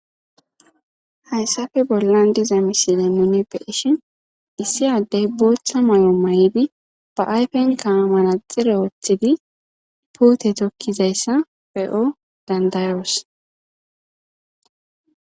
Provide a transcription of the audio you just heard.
Ha.yssafe bollan diza misile nuni be ishin issi addey bootha may'o mayHa'.idi ba ayfen kaamara xire wothidi puute tokkizayssa be7o dandayoos.